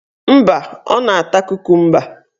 Mba, ọ na-ata kokumba